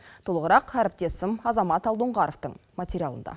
толығырақ әріптесім азамат алдоңғаровтың материалында